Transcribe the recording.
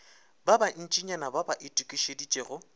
ba bantšinyana ba ba itokišeditšego